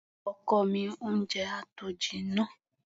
Ọkọ mi, oúnjẹ á tó jinná.